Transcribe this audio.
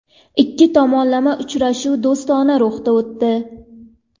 Ikki tomonlama uchrashuv do‘stona ruhda o‘tdi.